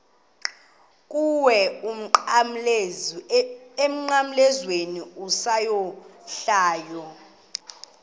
kuwe emnqamlezweni isohlwayo